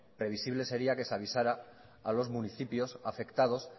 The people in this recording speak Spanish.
previsible sería que se avisara a los municipios afectados